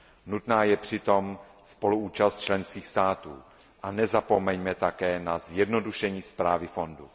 Nutná je přitom spoluúčast členských států a nezapomeňme také na zjednodušení správy fondu.